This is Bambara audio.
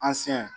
An siɲɛ